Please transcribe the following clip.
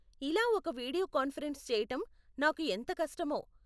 ఇలా ఒక video conference చేయటం నాకు ఎంత కష్టమో.